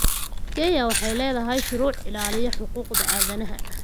Kenya waxay leedahay shuruuc ilaaliya xuquuqda aadanaha.